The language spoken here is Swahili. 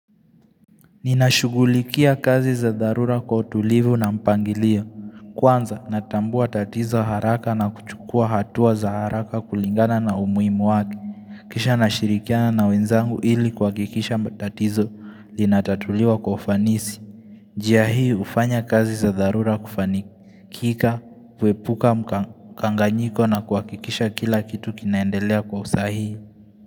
Ninashugulikia kazi za dharura kwa utulivu na mpangilio. Kwanza natambua tatizo haraka na kuchukua hatua za haraka kulingana na umuhimu wake. Kisha nashirikiana na wenzangu ili kwa kikisha mba tatizo linatatuliwa ufanisi. Jia hii ufanya kazi za dharura kufanika, kika, kuepuka mkanganyiko na kwa kikisha kila kitu kinaendelea kwa usahii.